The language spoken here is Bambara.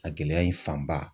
A gɛlɛya in fanba